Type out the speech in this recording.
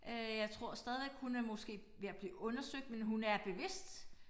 Øh jeg tror stadigvæk hun er måske ved at blive undersøgt men hun er bevidst